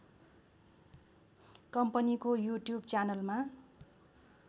कम्पनीको युट्युब च्यानलमा